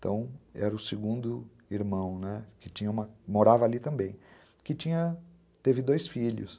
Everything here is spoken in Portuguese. Então, era o segundo irmão, né, que morava ali também, que tinha, que teve dois filhos.